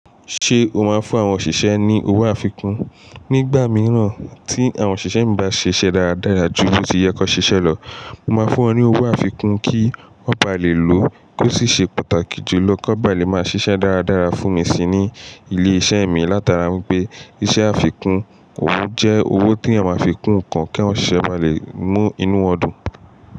Ṣé o máa ń fún àwọn òṣìṣẹ́ ní owó àfikún? Nígbà mìíràn tí àwọn òṣìṣẹ́ mi bá ṣiṣẹ́ dáradára jù bí ó ti yẹ kó ṣe ṣẹlọ̀, mo máa ń fún wọn ní owó àfikún kí wọ́n ba lè lo. Kó sì ṣe pàtàkì jùlọ kí wọ́n ba lè máa ṣiṣẹ́ dáradára fún mi sí ní ilé iṣẹ́ mi. Látara wípé iṣẹ́ àfikún owó jẹ́ owó tí èèyàn máa fi kún nǹkan kí èèyàn sise báa lè mú inú wọn dùn.